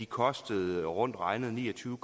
kostede rundt regnet ni og tyve